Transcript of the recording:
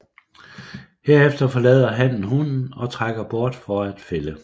Herefter forlader hannen hunnen og trækker bort for at fælde